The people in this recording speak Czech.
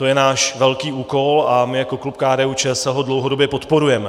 To je náš velký úkol a my jako klub KDU-ČSL ho dlouhodobě podporujeme.